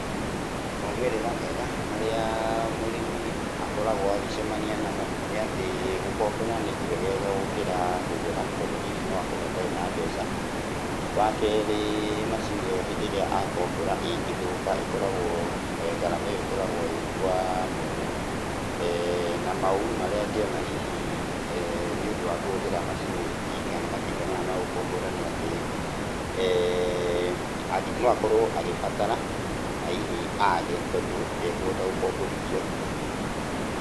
Maumĩrĩra mega marĩa mũrĩmi akoragwo agĩcemania namo nĩatĩ gũkombora nĩ kwegega gũkĩra kũgũra tondũ hihi noakorwo atarĩ na mbeca. Wakerĩ macini ĩyo hĩndĩ ĩrĩa akombora ĩngĩthũka ĩkoragwo, ngarama ĩyo ĩkoragwo ĩ kwa mwene. Na maũru marĩa angĩona hihi nĩũndũ wa kũhũthĩra macini, kana matinga maya ma gũkombora nĩ atĩ, no akorwo agĩbatara na hihi age tondũ ndekũhota gũkomborithio.